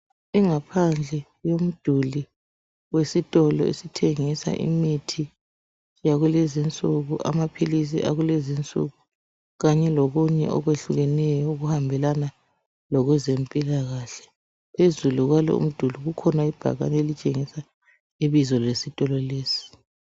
Ingaphandle yomduli wesitolo esithengisa imithi yakulezinsuku, amaphilisi akulezi nsuku kanye lokunye okwehlukeneyo okuhambelana lokwezempilakahle. Phezulu kwalowomduli kukhona ibhakane elitshengisa ibizo lesitolo lesi.